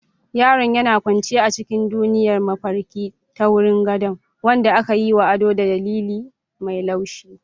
Yaron yana kwance a cikin duniyar mafarki ta wurin gado, wanda aka yi wa ado da lilin mai laushi.